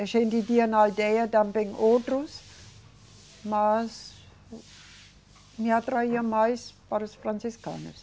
A gente tinha na aldeia também outros, mas me atraía mais para os franciscanos.